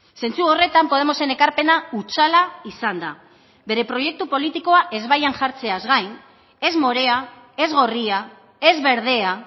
zentzu horretan podemosen ekarpena hutsala izan da bere proiektu politikoa ezbaian jartzeaz gain ez morea ez gorria ez berdea